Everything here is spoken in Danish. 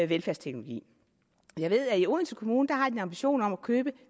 velfærdsteknologi jeg ved at i odense kommune har de en ambition om at købe